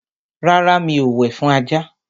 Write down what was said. rárá, mi o wẹ̀ fún ajá.